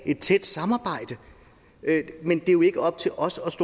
et tæt samarbejde men det er jo ikke op til os os